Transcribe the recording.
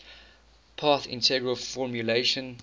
path integral formulation